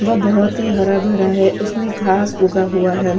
वह बहुत ही हरा भरा है उसमें घास उगा हुआ है।